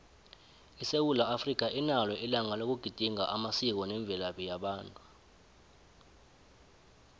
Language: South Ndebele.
isewula africa inalo ilanga loku gedinga amasiko nemvelaphi yabantu